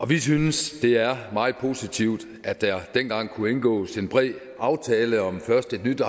vi synes det er meget positivt at der dengang kunne indgås en bred aftale om først et nyt